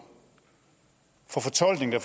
for fortolkninger